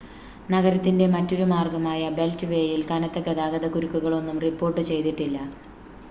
നഗരത്തിൻ്റെ മറ്റൊരു മാർഗ്ഗമായ ബെൽറ്റ് വേയിൽ കനത്ത ഗതാഗത കുരുക്കുകളൊന്നും റിപ്പോർട്ട് ചെയ്തിട്ടില്ല